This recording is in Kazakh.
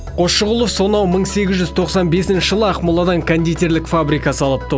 қосшығұлов сонау мың сегіз жүз тоқсан бесінші жылы ақмоладан кондитерлік фабрика салыпты